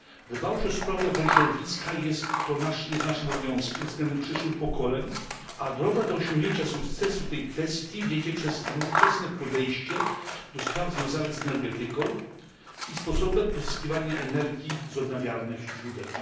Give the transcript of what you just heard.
Dbałość o sprawy ochrony środowiska jest naszym obowiązkiem względem przyszłych pokoleń, a droga do osiągnięcia sukcesu w tej kwestii wiedzie przez nowoczesne podejście do spraw związanych z energetyką i sposobem pozyskiwania energii z odnawialnych źródeł.